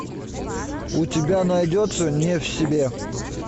у тебя найдется не в себе